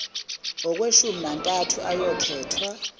kweshumi nantathu ayokhethwa